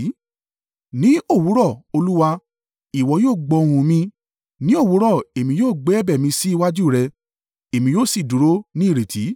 Ní òwúrọ̀, Olúwa, ìwọ yóò gbọ́ ohùn mi; ní òwúrọ̀, èmi yóò gbé ẹ̀bẹ̀ mi sí iwájú rẹ̀ èmi yóò sì dúró ní ìrètí.